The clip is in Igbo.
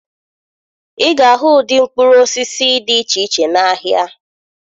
Ị ga-ahụ ụdị mkpụrụ osisi dị iche iche n'ahịa